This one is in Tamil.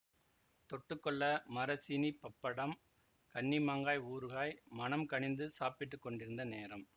தொட்டுக்கொள்ள மரச்சீனிப்பப்படம் கண்ணிமாங்காய் ஊறுகாய் மனம் கனிந்து சாப்பிட்டுக் கொண்டிருந்த நேரம்